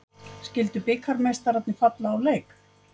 Skildu bikarmeistararnir falla úr leik